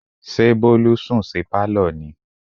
ṣé bólú sùn sí Pálọ̀ ni?